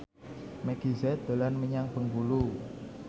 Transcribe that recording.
Meggie Z dolan menyang Bengkulu